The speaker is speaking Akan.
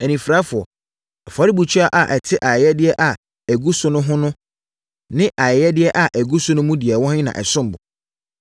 Anifirafoɔ! Afɔrebukyia a ɛte ayɛyɛdeɛ a ɛgu so no ho no ne ayɛyɛdeɛ a ɛgu so no mu deɛ ɛwɔ he na ɛsom bo?